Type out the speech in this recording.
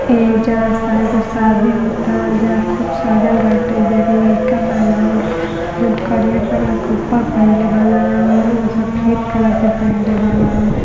एईजा एगो शादी होता जहां खूब सजल बाटे। एईजा एगो लाइका बा न। जोवन करिया कलर के ऊपर पहीनले बा न। एगो सफेद कलर के पहीनले बा न।